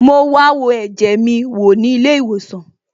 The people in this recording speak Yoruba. Mo wa wo ẹ̀jẹ̀ mi wò ní ilé ìwòsàn